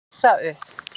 Rísa upp.